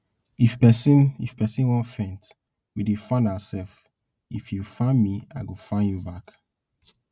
if person if person wan faint we dey fan ourselves if you fan me i go fan you back